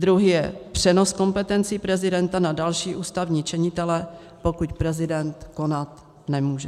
Druhý je přenos kompetencí prezidenta na další ústavní činitele, pokud prezident konat nemůže.